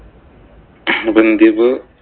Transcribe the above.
അപ്പൊ എന്തിയെ ഇപ്പൊ